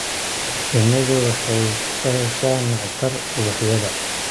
Shinnidu waxay ka heshaa nectar ubaxyada.